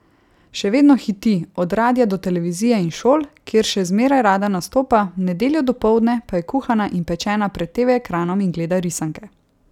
Še vedno hiti, od radia do televizije in šol, kjer še zmeraj rada nastopa, v nedeljo dopoldne pa je kuhana in pečena pred teve ekranom in gleda risanke.